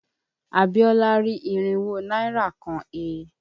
Abíọ́lá rí irínwó náírà kan he.